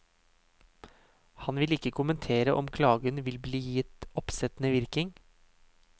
Han vil ikke kommentere om klagen vil bli gitt oppsettende virkning.